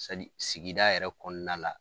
sigida yɛrɛ kɔnɔna la.